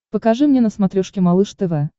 покажи мне на смотрешке малыш тв